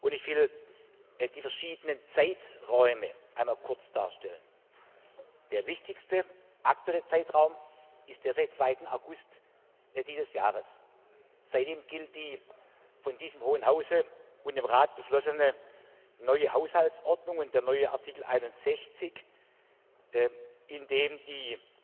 Ich will die verschiedenen Zeiträume einmal kurz darstellen Der wichtigste aktuelle Zeitraum ist der seit 2. August dieses Jahres. Seitdem gilt die von diesem Hohen Hause und dem Rat beschlossene neue Haushaltsordnung und der neue Artikel 61, in dem die